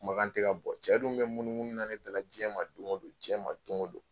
Kumakan tɛ ka bɔ, cɛ dun bɛ munumunu ne da la, jɛn ma don o don, jɛn ma don o don